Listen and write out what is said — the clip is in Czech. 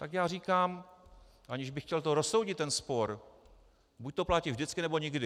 Tak já říkám, aniž bych chtěl rozsoudit ten spor, buď to platí vždycky, nebo nikdy.